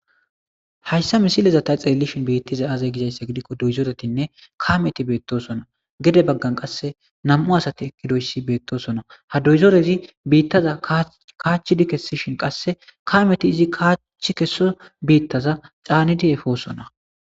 hayssa misilezavta xelelishin beittizay aaze gizayssa gidikko doyzoretinne kameti beettosona gede baggan qasse nam7u asati ekkidoyssi beettosona ha doyzoreti biittaza kaachchidi kesishin qasse kameti izi kaachchi kesida biittaza caanidi efoosona